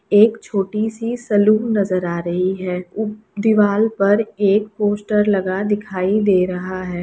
एक छोटी सी सैलून नजर आ रही है उ दीवाल पर एक पोस्टर लगा दिखाई दे रहा है।